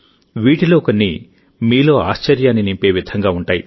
వీటిలో కొన్ని మీలో ఆశ్చర్యాన్ని నింపే విధంగా ఉంటాయి